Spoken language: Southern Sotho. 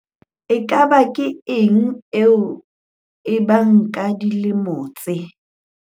Nkamankeng eo e bang ka dilemo tse